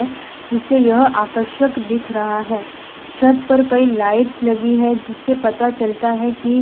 जिससे यह आकर्षक दिख रहा है छत पर कई लाइट्स लगी है जिससे पता चलता है कि--